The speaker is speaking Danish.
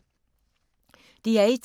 DR1